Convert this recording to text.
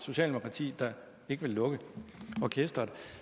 socialdemokrati der ikke vil lukke orkesteret